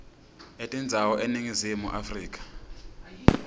etindzawo eningizimu afrika